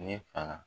Ne fa